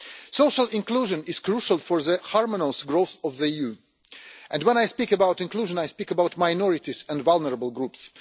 Social inclusion is crucial for the harmonious growth of the EU, and when I speak about inclusion I speak about minorities and vulnerable groups.